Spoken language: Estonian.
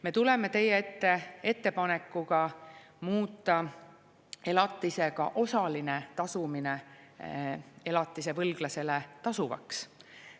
Me tuleme teie ette ettepanekuga muuta ka elatise osaline tasumine elatisvõlglasele tasuvaks.